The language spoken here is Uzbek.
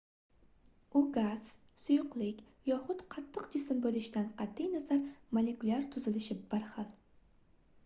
u gaz suyuqlik yoxud qattiq jism boʻlishidan qatʼi nazar molekulyar tuzilishi bir xil